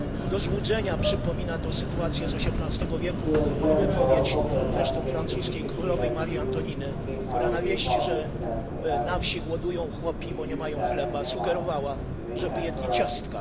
Do złudzenia przypomina to sytuację z osiemnastego wieku i wypowiedź, zresztą francuskiej, królowej Marii Antoniny, która na wieść, że na wsi głodują chłopi, bo nie mają chleba, sugerowała, żeby jedli ciastka.